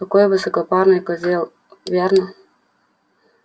какой высокопарный козел верно